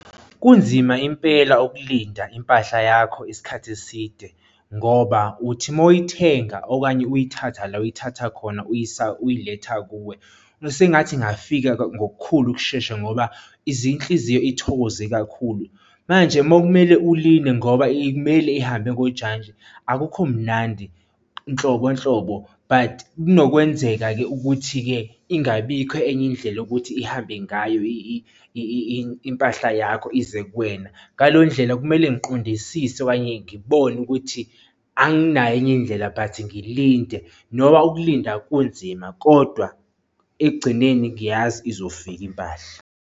Kunzima impela ukulinda impahla yakho isikhathi eside ngoba uthi moyithenga okanye uyithatha la oyithatha khona uyisa, uyiletha kuwe sengathi ingafika ngokukhulu ukushesha ngoba izinhliziyo ithokoze kakhulu manje uma kumele ulinde ngoba imele ihambe ngojantshi akukho mnandi nhlobo nhlobo. But kunokwenzeka-ke ukuthi-ke ingabikho enye indlela yokuthi ihambe ngayo impahla yakho ize kuwena. Ngaleyo ndlela kumele ngiqondisise okanye ngibone ukuthi anginayo enye indlela but ngilinde noma ukulinda kunzima kodwa ekugcineni ngiyazi izofika impahla.